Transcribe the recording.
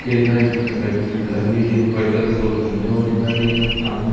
कई सारी चीजें लगी है लगी हैं देखो व्हाइट कलर का गोल घूमता हुआ दिखाई दे रहा है सामने।